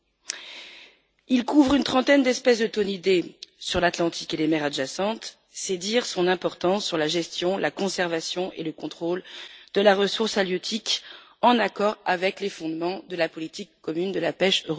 Cet accord couvre une trentaine d'espèces de thonidés sur l'Atlantique et les mers adjacentes, c'est dire son importance pour la gestion, la conservation et le contrôle des ressources halieutiques en accord avec les fondements de la politique commune de la pêche.